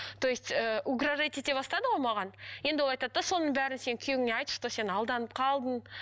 то есть ыыы угрожать ете бастады ғой маған енді ол айтады да соның бәрін сен күйеуіңе айт что сен алданып қалдың